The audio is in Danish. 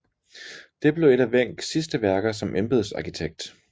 Det blev et af Wencks sidste værker som embedsarkitekt